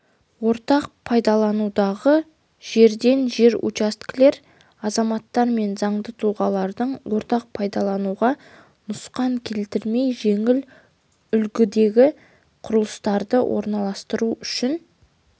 ортақ пайдаланудағы жерден жер учаскелер азаматтар мен заңды тұлғалардың ортақ пайдалануға нұқсан келтірмей жеңіл үлгідегі құрылыстарды орналастыруы үшін